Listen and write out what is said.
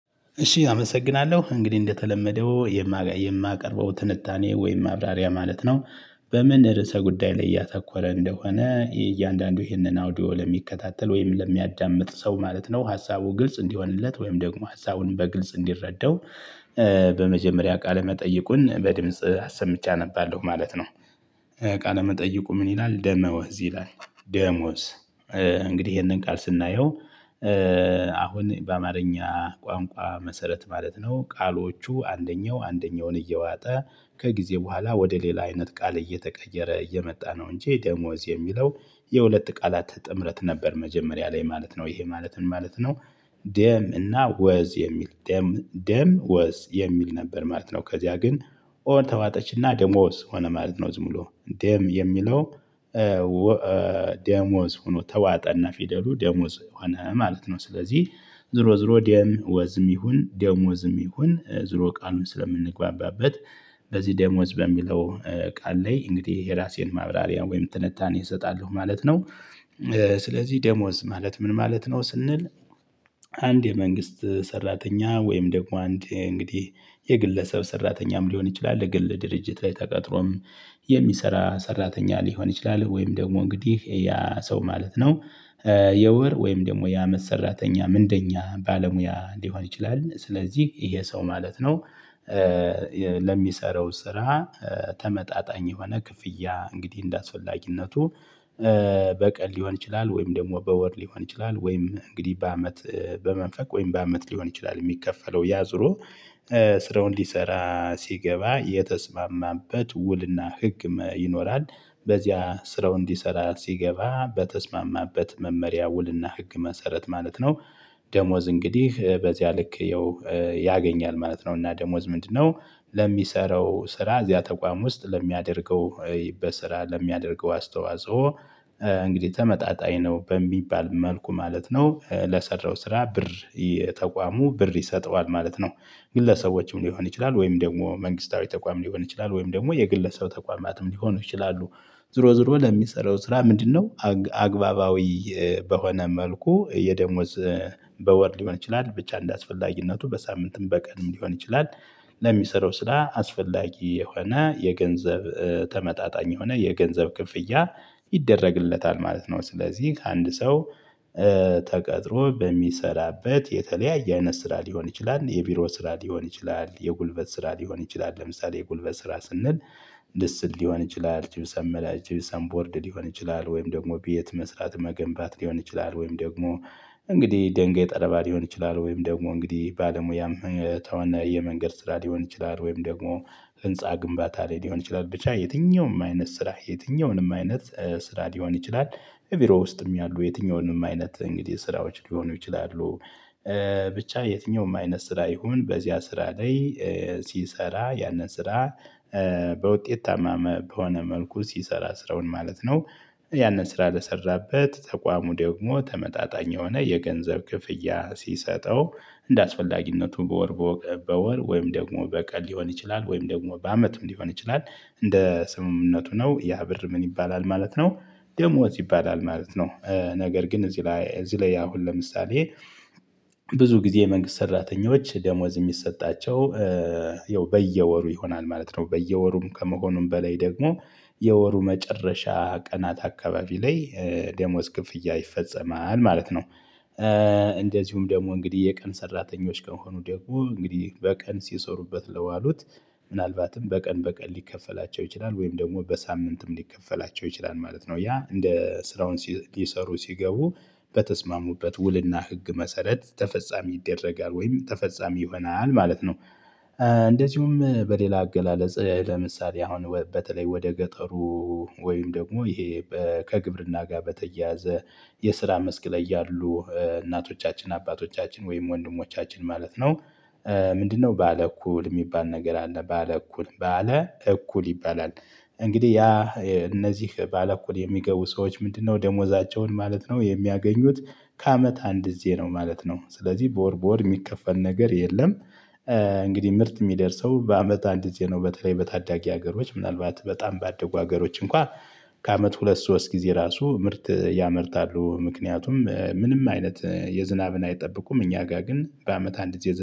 እሺ አመሰግናለሁ እንግዲህ እንደተለመደው የማቀርበው ትንታኔ ወይም ማብራሪያ ማለት ነው። በምን ርዕሰ ጉዳይ ላይ እያተኮረ እንደሆነ እያንዳንዱ ይህንን ኦዲዮ ለሚከታተል ወይም ለሚያዳምጥ ሰው ማለት ነው ሀሳቡ ግልጽ እንዲሆንለት ወይም ደግሞ ሀሳቡን በግልጽ እንዲረዳው። በመጀመሪያ ቃለ መጠይቁን በድምጽ ሰምቼ አነባለሁ ማለት ነው። ቃለ መጠይቁ ምን ይላል? ደሞዝ ይላል ደሞዝ እንግዲህ ይሄንን ቃል ስናየው። አሁን በአማርኛ ቋንቋ መሰረት ማለት ነው ቃሎቹ አንደኛው አንደኛውን እየዋጠ ከጊዜ በኋላ ወደ ሌላ አይነት ቃል እየተቀየረ እየመጣ ነው። እንጂ ደሞዝ የሚለው የሁለት ቃላት ጥምረት ነበር መጀመሪያ ላይ ማለት ነው ይሄ ማለትን ማለት ነው። ደም እና ወዝ የሚል ደም ደም ወዝ የሚል ነበር ማለት ነው። ከዚያ ግን ኦ ተዋጠችና ደሞዝ ሆነ ማለት ነው ዝም ብሎ ደም የሚለው። ደሞዝ ሆኖ ተዋጠ እና ፊደሉ ደሞዝ ሆነ ማለት ነው። ስለዚህ ዙሮ ዙሮ ደም ወዝም ይሁን ደሞዝም ይሁን ዙሮ ቃሉን ስለምንግባባበት በዚህ ደሞዝ በሚለው ቃል ላይ እንግዲህ የራሴን ማብራሪያ ወይም ትንታኔ እሰጣለሁ ማለት ነው። ስለዚህ ደሞዝ ማለት ምን ማለት ነው ስንል? አንድ የመንግስት ሰራተኛ ወይም ደግሞ አንድ እንግዲህ የግለሰብ ሰራተኛም ሊሆን ይችላል ግን ለድርጅት ላይ ተቀጥሮም የሚሰራ ሰራተኛ ሊሆን ይችላል ወይም ደግሞ እንግዲህ ያ ሰው ማለት ነው። የወር ወይም ደግሞ የአመት ሰራተኛ እንደኛ ባለሙያ ሊሆን ይችላል ስለዚህ ይሄ ሰው ማለት ነው። ለሚሰራው ስራ ተመጣጣኝ የሆነ ክፍያ እንግዲህ እንደአስፈላጊነቱ። በቀን ሊሆን ይችላል ወይም ደግሞ በወር ሊሆን ይችላል ወይም እንግዲህ በአመት በመንፈቅ ወይም በአመት ሊሆን ይችላል የሚከፈለው ያ ዙሮ። ስራው ሊሰራ ሲገባ የተስማማበት ውልና ህግ ይኖራል በዚያ ስራው እንዲሰራ ሲገባ በተስማማበት መመሪያ ውልና ህግ መሰረት ማለት ነው። ደሞዝ እንግዲህ በዚያ ልክ ያገኛል ማለት ነው። እና ደሞዝ ምንድነው? ለሚሰራው ስራ እዚያ ተቋም ውስጥ ለሚያደርገው በስራ ለሚያደርገው አስተዋፅኦ እንግዲህ ተመጣጣኝ ነው በሚባል መልኩ ማለት ነው። ለሰራው ስራ ብር የተቋሙ ብር ይሰጠዋል ማለት ነው። ግለሰቦችም ሊሆን ይችላል ወይም ደግሞ መንግስታዊ ተቋም ሊሆን ይችላል ወይም ደግሞ የግለሰብ ተቋማትም ሊሆኑ ይችላሉ። ዞሮ ዞሮ ለሚሰራው ስራ ምንድነው አግባባዊ? በሆነ መልኩ የደሞዝ በወር ሊሆን ይችላል ብቻ እንደ አስፈላጊነቱ በሳምንትም በቀንም ሊሆን ይችላል። ለሚሰራው ስራ አስፈላጊ የሆነ የገንዘብ ተመጣጣኝ የሆነ የገንዘብ ክፍያ ይደረግለታል ማለት ነው። ስለዚህ ከአንድ ሰው ተቀጥሮ በሚሰራበት የተለያየ አይነት ስራ ሊሆን ይችላል የቢሮ ስራ ሊሆን ይችላል የጉልበት ስራ ሊሆን ይችላል ለምሳሌ የጉልበት ስራ ስንል። ልስን ሊሆን ይችላል ጂብሰን ጂብሰን ቦርድ ሊሆን ይችላል ወይም ደግሞ ቤት መስራት መገንባት ሊሆን ይችላል ወይም ደግሞ እንግዲህ ድንጋይ ጠረባ ሊሆን ይችላል ወይም ደግሞ እንግዲህ ባለሙያም ከሆነ መንገድ የመንገድ ስራ ሊሆን ይችላል ወይም ደግሞ ህንፃ ግንባታ ላይ ሊሆን ይችላል ብቻ የትኛውም አይነት ስራ የትኛውንም አይነት ስራ ሊሆን ይችላል። ቢሮ ውስጥም ያሉ የትኛውንም አይነት እንግዲህ ስራዎች ሊሆኑ ይችላሉ። ብቻ የትኛውም አይነት ስራ ይሁን በዚያ ስራ ላይ ሲሰራ ያንን ስራ በውጤታማ በሆነ መልኩ ሲሰራ ስራውን ማለት ነው። ያንን ስራ ለሰራበት ተቋሙ ደግሞ ተመጣጣኝ የሆነ የገንዘብ ክፍያ ሲሰጠው እንደአስፈላጊነቱ በወር በወር ወይም ደግሞ በቀን ሊሆን ይችላል ወይም ደግሞ በአመትም ሊሆን ይችላል እንደ ስምምነቱ ነው ያ ብር ምን ይባላል ማለት ነው። ደሞዝ ይባላል ማለት ነው። ነገር ግን እዚህ ላይ እዚህ ላይ አሁን ለምሳሌ። ብዙ ጊዜ የመንግስት ሰራተኞች ደሞዝ የሚሰጣቸው ያው በየወሩ ይሆናል ማለት ነው። በየወሩም ከመሆኑም በላይ ደግሞ የወሩ መጨረሻ ቀናት አካባቢ ላይ ደሞዝ ክፍያ ይፈፀማል ማለት ነው። እንደዚሁም ደግሞ እንግዲህ የቀን ሰራተኞች ከሆኑ ደግሞ እንግዲህ በቀን ሲሰሩበት ለዋሉት ምናልባትም በቀን በቀን ሊከፈላቸው ይችላል ወይም ደግሞ በሳምንትም ሊከፈላቸው ይችላል ማለት ነው። ያ እንደ ስራውን ሊሰሩ ሲገቡ በተስማሙበት ውልና ህግ መሰረት ተፈፃሚ ይደረጋል ወይም ተፈፃሚ ይሆናል ማለት ነው። እንደዚሁም በሌላ አገላለጽ ለምሳሌ አሁን በተለይ ወደ ገጠሩ ወይም ደግሞ ይሄ ከግብርና ጋር በተያያዘ የስራ መስክ ላይ ያሉ እናቶቻችን አባቶቻችን ወይም ወንድሞቻችን ማለት ነው። ምንድነው ባለ እኩል የሚባል ነገር አለ ባለ እኩል ባለ እኩል ይባላል። እንግዲህ ያ እነዚህ ባለእኩል የሚገቡ ሰዎች ምንድነው ደሞዛቸውን ማለት ነው የሚያገኙት? ከአመት አንድ ጊዜ ነው ማለት ነው። ስለዚህ በወር በወር የሚከፈል ነገር የለም። እንግዲህ ምርት የሚደርሰው በአመት አንድ ጊዜ ነው። በተለይ በታዳጊ ሀገሮች ምናልባት በጣም ባደጉ ሀገሮች እንኳን ከአመት ሁለት ሶስት ጊዜ ራሱ ምርት ያመርታሉ ምክንያቱም ምንም አይነት የዝናብን አይጠብቁም እኛ ጋር ግን በአመት አንድ የዝናብ